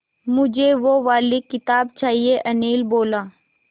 मुझे वो वाली किताब चाहिए अनिल बोला